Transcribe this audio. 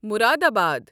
Moradabad